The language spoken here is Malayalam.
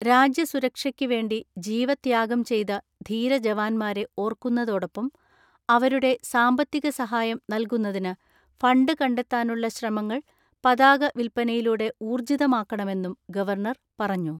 രാജ്യസുരക്ഷയ്ക്ക് വേണ്ടി ജീവത്യാഗം ചെയ്ത ധീര ജവാൻമാരെ ഓർക്കുന്നതോടൊപ്പം അവരുടെ സാമ്പത്തിക സഹായം നൽകുന്നതിന് ഫണ്ട് കണ്ടെത്താനുള്ള ശ്രമങ്ങൾ പതാക വിൽപ്പനയിലൂടെ ഊർജ്ജിതമാക്കണമെന്നും ഗവർണർ പറഞ്ഞു.